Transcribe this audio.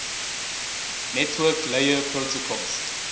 network layer protocols